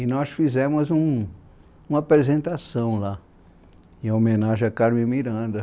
e nós fizemos um, uma apresentação lá, em homenagem à Carmen Miranda.